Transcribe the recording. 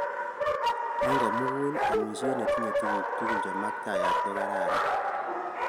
Eng komugul amishet netinye tuguk chemaktaat ko kararan